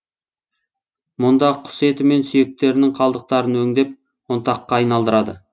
мұнда құс еті мен сүйектерінің қалдықтарын өңдеп ұнтаққа айналдырады